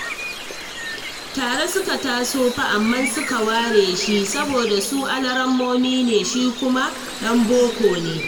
Tare suka taso fa amma suke ware shi, saboda su alarammomi ne, shi kuma ɗan boko ne